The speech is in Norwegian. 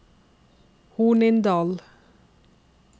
Hornindal